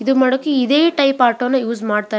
ಇದು ಮಾಡೋಕೆ ಇದೆ ಟೈಪ್ ಆಟೋನ ಯೂಸ್ ಮಾಡ್ತಾರೆ.